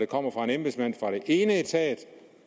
kommer fra den ene etat